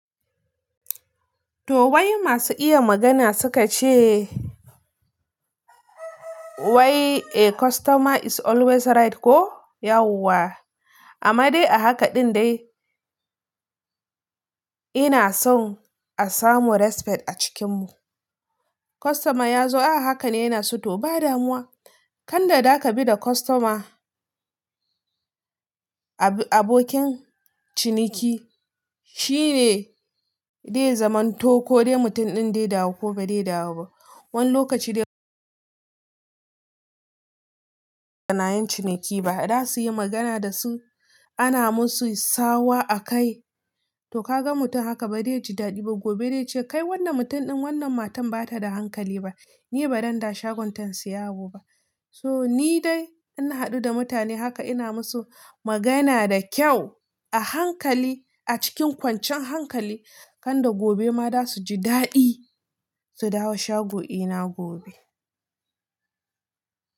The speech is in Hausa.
To wai masu iya magana suka ce wai a customer is always right ko? Yauwa. Amma dai a haka ɗin dai ina son a samu respect a cikin mu. Customer ya zo a haka ne yana so, to ba damuwa. Kanda da ka bi da customer, abokin ciniki, shine dai zamanto ko dai mutum ɗin dai dawo ko ba dai dawo ba. Wani lokaci dai yanayin ciniki ba za su yi magana da su, ana musu tsawa a kai, to ka ga mutum haka ba zai ji daɗi ba, gobe dai ce kai wannan mutum ɗin wannan matan ba ta da hankali ba, ni ba zan dawo shagonta in siya abuba. To ni dai in na haɗu da mutane haka ina musu magana da kyau, a hankali a cikin kwanciyan hankali, kanda gobe ma za su ji daɗi su dawo shago ɗina gobe.